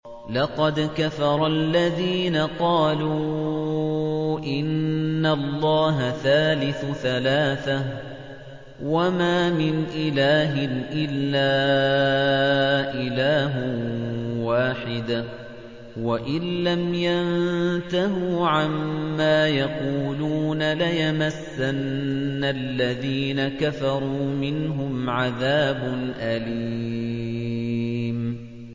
لَّقَدْ كَفَرَ الَّذِينَ قَالُوا إِنَّ اللَّهَ ثَالِثُ ثَلَاثَةٍ ۘ وَمَا مِنْ إِلَٰهٍ إِلَّا إِلَٰهٌ وَاحِدٌ ۚ وَإِن لَّمْ يَنتَهُوا عَمَّا يَقُولُونَ لَيَمَسَّنَّ الَّذِينَ كَفَرُوا مِنْهُمْ عَذَابٌ أَلِيمٌ